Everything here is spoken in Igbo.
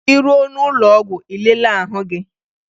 Ị ruo n'ụlọọgwụ ị lelee ahụ gị!